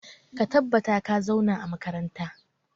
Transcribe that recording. Ka tabbata ka zauna a makaranta!